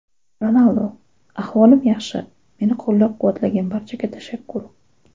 Ronaldu: Ahvolim yaxshi, meni qo‘llab-quvvatlagan barchaga tashakkur.